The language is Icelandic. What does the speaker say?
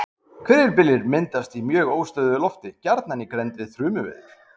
Hvirfilbyljir myndast í mjög óstöðugu lofti, gjarnan í grennd við þrumuveður.